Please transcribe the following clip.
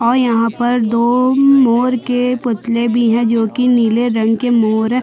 और यहाँ पर दो मोर के पुतले भी है जो की नीले रंग के मोर--